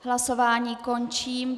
Hlasování končím.